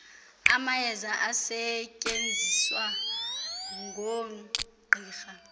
amayeza asetyenziswa ngoogqirha